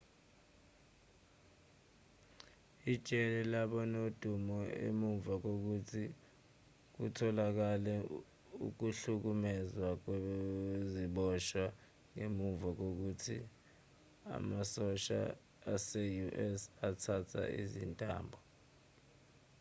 ijele laba nodumo emuva kokuthi kutholakale ukuhlukumezwa kweziboshwa ngemuva kokuthi amasosha ase-us athatha izintambo